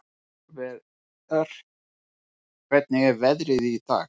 Sólver, hvernig er veðrið í dag?